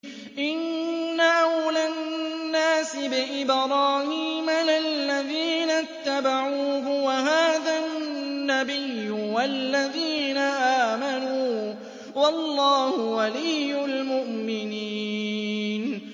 إِنَّ أَوْلَى النَّاسِ بِإِبْرَاهِيمَ لَلَّذِينَ اتَّبَعُوهُ وَهَٰذَا النَّبِيُّ وَالَّذِينَ آمَنُوا ۗ وَاللَّهُ وَلِيُّ الْمُؤْمِنِينَ